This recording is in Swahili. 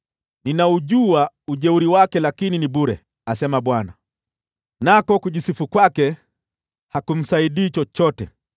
Ninaujua ujeuri wake, lakini ni bure,” asema Bwana , “nako kujisifu kwake hakumsaidii chochote.